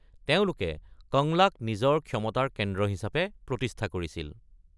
তেওঁলোকে কংলাক নিজৰ ক্ষমতাৰ কেন্দ্ৰ হিচাপে প্ৰতিষ্ঠা কৰিছিল।